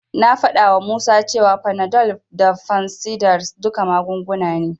Na faɗawa Musa cewa Panadol da fansidar duka magunguna ne.